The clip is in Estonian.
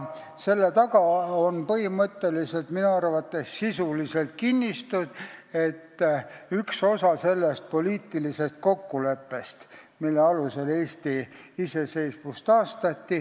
Aga põhimõtteliselt on selle taga minu arvates üks kinnitus, üks osa sellest poliitilisest kokkuleppest, mille alusel Eesti iseseisvus taastati.